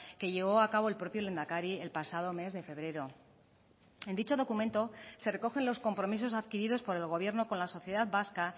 que llevó a cabo el propio lehendakari el pasado mes de febrero en dicho documento se recogen los compromisos adquiridos por el gobierno con la sociedad vasca